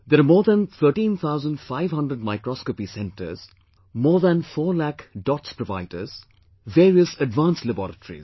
There are more than 13,500 Microscopy Centres, more than four lakh DOTS providers, various advanced laboratories